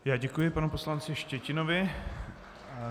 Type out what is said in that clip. Já děkuji panu poslanci Štětinovi.